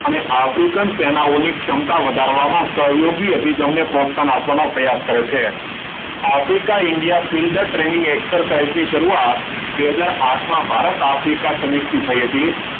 અને આફ્રિકન સેનાઓની ક્ષમતા વધારવા માં સહયોગી અભિગમને પ્રોત્સાહન આપવાનો પ્રયાસ કરે છે. આફ્રિકા ઇન્ડિયા ટ્રેનિંગ એક્સરસાઇઝની શરૂઆત બે હજાર આઠમાં ભારત આફ્રિકા સમિતિ થઈ હતી.